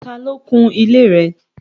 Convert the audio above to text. Tà lo kùn ilẹ̀ rẹ̀?